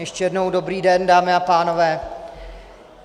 Ještě jednou dobrý den, dámy a pánové.